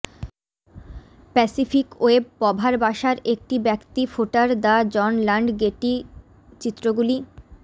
Pacific ওয়েব পভার বাসার একটি ব্যক্তি ফোটার দ্য জন লান্ড গেটি চিত্রগুলি